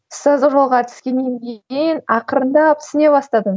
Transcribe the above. ұстаздық жолға түскеннен кейін ақырындап түсіне бастадым